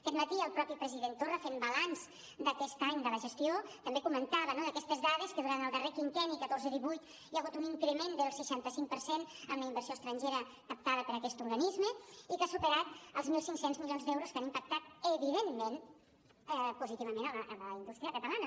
aquest matí el mateix president torra fent balanç d’aquest any de la gestió també comentava no aquestes dades que durant el darrer quinquenni catorze divuit hi ha hagut un increment del seixanta cinc per cent en la inversió estrangera captada per aquest organisme i que ha superat els mil cinc cents milions d’euros que han impactat evidentment positivament la indústria catalana